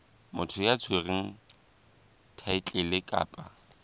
motho ya tshwereng thaetlele kapa